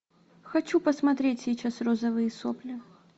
хочу посмотреть сейчас розовые сопли